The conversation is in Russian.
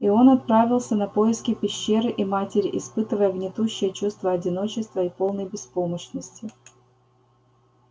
и он отправился на поиски пещеры и матери испытывая гнетущее чувство одиночества и полной беспомощности